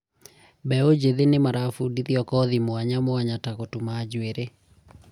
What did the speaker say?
mbeũ njĩthĩ nĩ marabundithio kothi mwanya myanya ta gũtuma njũĩrĩ